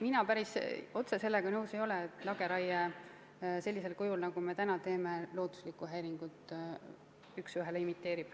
Mina päris üheselt sellega nõus ei ole, et lageraie sellisel kujul, nagu me täna teeme, looduslikku häiringut üks ühele imiteerib.